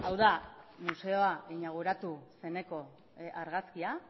da museoa inauguratu zeneko argazkia